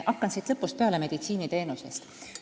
Hakkan lõpust peale, meditsiiniteenusest.